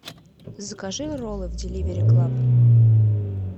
закажи роллы в деливери клаб